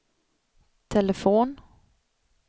telefon